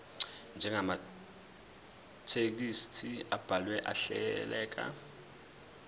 njengamathekisthi abhaleke ahleleka